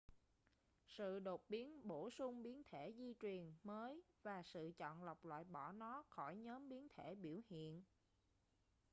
sự đột biến bổ sung biến thể di truyền mới và sự chọn lọc loại bỏ nó khỏi nhóm biến thể biểu hiện